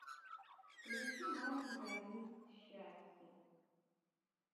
включи маленькая мисс счастье